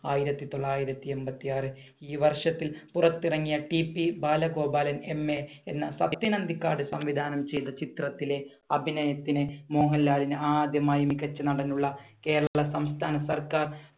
ആയിരത്തി തൊള്ളായിരത്തി എൺപത്തി ആറ്. ഈ വർഷത്തിൽ പുറത്തിറങ്ങിയ TP ബാലഗോപാലൻ MA എന്ന സത്യൻ അന്തിക്കാട് സംവിധാനം ചെയ്ത ചിത്രത്തിലെ അഭിനയത്തിന് മോഹൻലാലിന് ആദ്യമായി മികച്ച നടനുള്ള കേരള സംസ്ഥാന സർക്കാർ